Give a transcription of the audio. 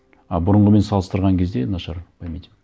а бұрынғымен салыстырған кезде нашар память ім